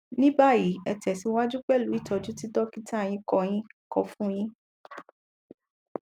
ní báyìí ẹ tẹsíwájú pẹlú ìtọjú tí dọkítà yín kọ yín kọ fun yín